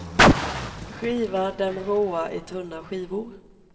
Skiva dem råa i tunna skivor.